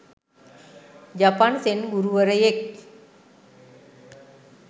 ජපන් Zen ගුරුවරයෙක්